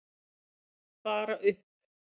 Bara upp!